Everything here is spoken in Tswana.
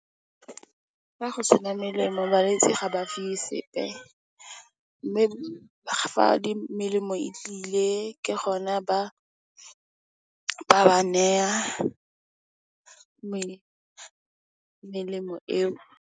Fa go sena melemo balwetsi ga ba fiwe sepe. Mme, ga melemo e tlile ke gona ba ba nayang melemo eo.